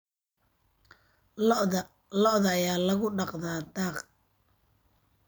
Lo'da lo'da ayaa lagu dhaqdaa daaq.